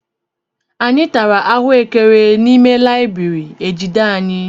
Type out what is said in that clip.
Anyị tara ahuekere n'ime layibiri ejide anyị.